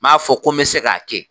N b'a fɔ ko n bɛ se k'a kɛ